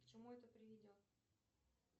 к чему это приведет